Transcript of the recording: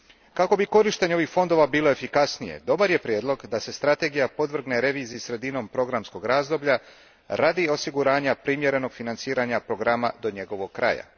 Kako bi korištenje ovih fondova bilo efikasnije, dobar je prijedlog da se strategija podvrgne reviziji sredinom programskog razdoblja radi osiguranja primjerenog financiranja programa do njegovog kraja.